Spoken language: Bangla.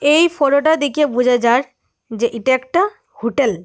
এই ফোটোটা দেখে বোঝা যার যে এটা একটা হোটেল ।